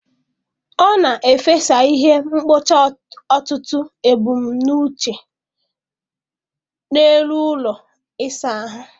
Ọ na-efesa ihe mkpocha ọtụtụ ebumnuche n'elu ụlọ ịsa ahụ.